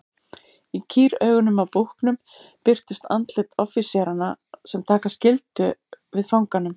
Í kýraugunum á búknum birtust andlit offíseranna sem taka skyldu við fanganum.